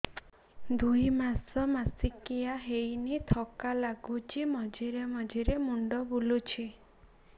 ଦୁଇ ମାସ ମାସିକିଆ ହେଇନି ଥକା ଲାଗୁଚି ମଝିରେ ମଝିରେ ମୁଣ୍ଡ ବୁଲୁଛି